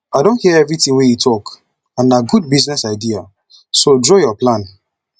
i don hear everything wey you talk and na good business idea so draw your plan